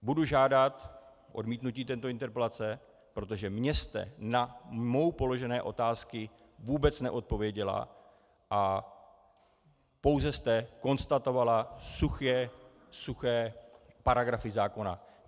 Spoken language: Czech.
Budu žádat odmítnutí této interpelace, protože mně jste na mnou položené otázky vůbec neodpověděla a pouze jste konstatovala suché, suché paragrafy zákona.